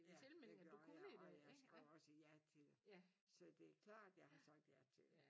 Ja det gjorde jeg og jeg skrev også ja til det. Så det er klart jeg har sagt ja til det